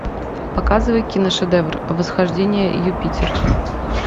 показывай киношедевр восхождение юпитера